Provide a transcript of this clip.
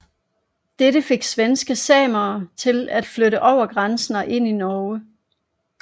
Dette fik svenske samer til at flytte over grænsen og ind i Norge